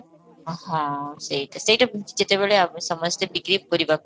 ହଁ, ସେଇଟା ସେଇଟା ଯେତେବେଳେ ଆମେ ସମସ୍ତେ ବିକ୍ରି କରିବାକୁ